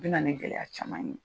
O bɛ na ni gɛlɛya caman ye